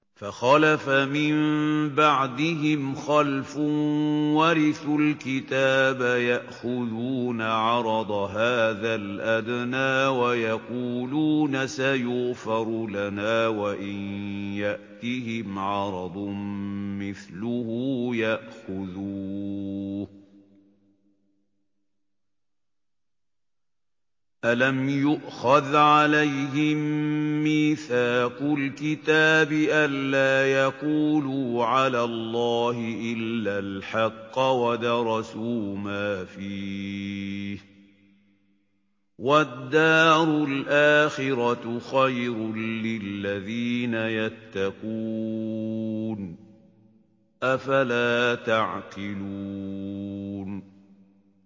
فَخَلَفَ مِن بَعْدِهِمْ خَلْفٌ وَرِثُوا الْكِتَابَ يَأْخُذُونَ عَرَضَ هَٰذَا الْأَدْنَىٰ وَيَقُولُونَ سَيُغْفَرُ لَنَا وَإِن يَأْتِهِمْ عَرَضٌ مِّثْلُهُ يَأْخُذُوهُ ۚ أَلَمْ يُؤْخَذْ عَلَيْهِم مِّيثَاقُ الْكِتَابِ أَن لَّا يَقُولُوا عَلَى اللَّهِ إِلَّا الْحَقَّ وَدَرَسُوا مَا فِيهِ ۗ وَالدَّارُ الْآخِرَةُ خَيْرٌ لِّلَّذِينَ يَتَّقُونَ ۗ أَفَلَا تَعْقِلُونَ